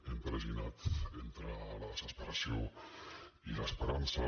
hem tra ginat entre la desesperació i l’esperança